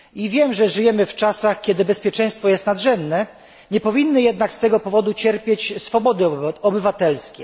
Wiem, że żyjemy w czasach, kiedy bezpieczeństwo jest nadrzędne, nie powinny jednak z tego powodu cierpieć swobody obywatelskie.